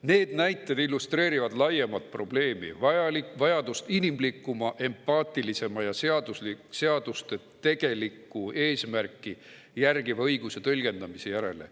Need näited illustreerivad laiemat probleemi, vajadust inimlikuma, empaatilisema ja seaduste tegelikku eesmärki järgiva õiguse tõlgendamise järele.